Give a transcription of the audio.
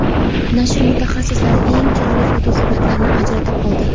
Nashr mutaxassislari eng chiroyli fotosuratlarni ajratib oldi.